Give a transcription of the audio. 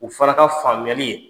U fana ka faamuyali ye